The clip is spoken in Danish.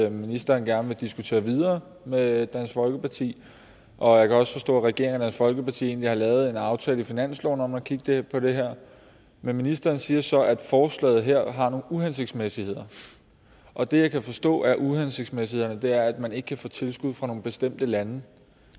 at ministeren gerne vil diskutere videre med dansk folkeparti og jeg kan også forstå at regeringen og dansk folkeparti egentlig har lavet en aftale i finansloven om at kigge på det her men ministeren siger så at forslaget her har nogle uhensigtsmæssigheder og det jeg kan forstå af uhensigtsmæssighederne er at man ikke kan få tilskud fra nogle bestemte lande